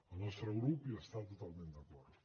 el nostre grup hi està totalment d’acord